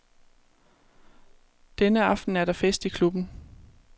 Denne aften er der fest i klubben.